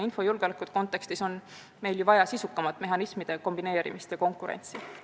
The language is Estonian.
Infojulgeoleku kontekstis on meil vaja sisukamat mehhanismide kombineerimist ja konkurentsi.